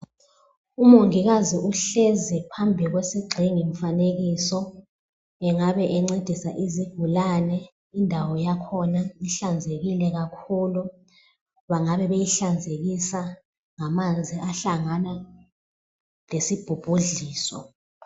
Umongikazi uhlezi phambi kwesigxingi mfanekiso engabe encedisa izigulane. Indawo yakhona ihlanzekile kakhulu bengabe beyihlanzekisa ngamanzi ahlangana lesi bhubhudliso.